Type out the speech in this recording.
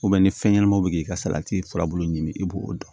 ni fɛn ɲɛnamaw bɛ k'i ka salati furabulu ɲini i b'o dɔn